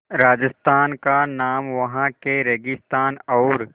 राजस्थान का नाम वहाँ के रेगिस्तान और